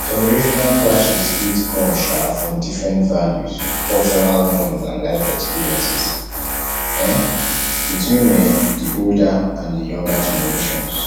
generational clashes fit come um from different values cultural norms and life experiences um between um di older and di younger generations